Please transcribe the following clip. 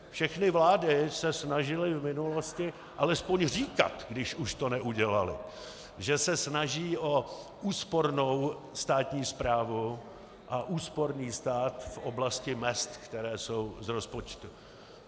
Všechny vlády se snažily v minulosti alespoň říkat, když už to neudělaly, že se snaží o úspornou státní správu a úsporný stát v oblasti mezd, které jsou z rozpočtu.